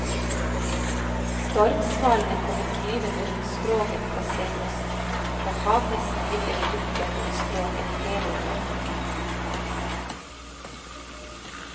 Stormsvalene kommer flyvende rundt skroget på senhøsten, og havhesten ligger og dupper rundt skroget hele året.